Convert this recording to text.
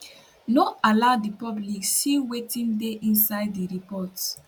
no allow di public see wetin dey inside di report